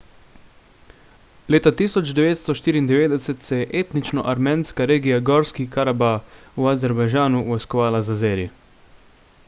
leta 1994 se je etnično armenska regija gorski karabah v azerbajdžanu vojskovala z azeri